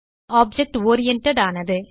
object oriented ஆனது